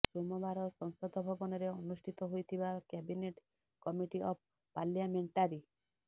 ସୋମବାର ସଂସଦ ଭବନରେ ଅନୁଷ୍ଠିତ ହୋଇଥିବା କ୍ୟାବିନେଟ କମିଟି ଅଫ୍ ପାର୍ଲିଆମେଣ୍ଟାରି